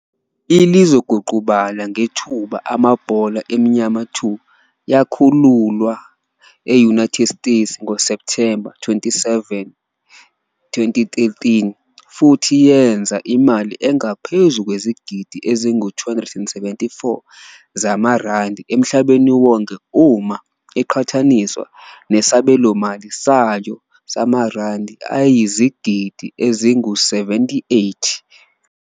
I-"Lizoguqubala Ngethuba Amabhola Enyama 2" yakhululwa e-United States ngoSepthemba 27, 2013, futhi yenza imali engaphezu kwezigidi ezingu-274 zamaRandi emhlabeni wonke uma iqhathaniswa nesabelomali sayo samaRandi ayizigidi ezingu-78.